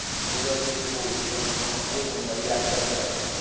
બોલવા જઈએ તો બઉ ઓછું આમ હં બઉ મંગાવ્યું યાદ પણ ન રે.